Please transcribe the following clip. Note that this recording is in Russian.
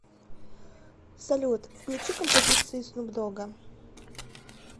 салют включи композиции снуп догга